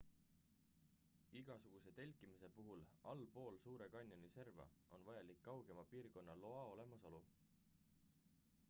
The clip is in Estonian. igasuguse telkimise puhul allpool suure kanjoni serva on vajalik kaugema piirkonna loa olemasolu